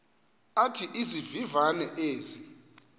athi izivivane ezi